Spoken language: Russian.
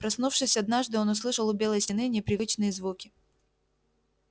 проснувшись однажды он услышал у белой стены непривычные звуки